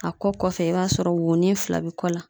A kɔ kɔfɛ i b'a sɔrɔ wonin fila bɛ kɔ la.